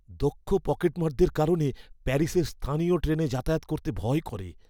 দক্ষ পকেটমারদের কারণে প্যারিসের স্থানীয় ট্রেনে যাতায়াত করতে ভয় করে।